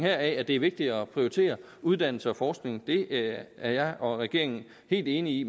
at det er vigtigt at prioritere uddannelse og forskning det er jeg og regeringen helt enig i